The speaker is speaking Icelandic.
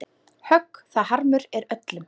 Högg það harmur er öllum.